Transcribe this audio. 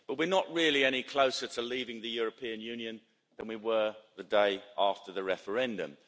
But we're not really any closer to leaving the European Union than we were the day after the referendum.